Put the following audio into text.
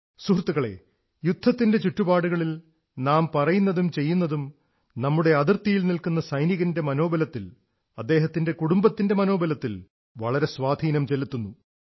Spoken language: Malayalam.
സുഹൃത്തുക്കളേ യുദ്ധത്തിന്റെ ചുറ്റുപാടുകളിൽ നാം പറയുന്നതും ചെയ്യുന്നതും നമ്മുടെ അതിർത്തിയിൽ നിൽക്കുന്ന സൈനികന്റെ മനോബലത്തിൽ അദ്ദേഹത്തിന്റെ കുടുംബത്തിന്റെ മനോബലത്തിൽ വളരെ സ്വാധീനം ചെലുത്തുന്നു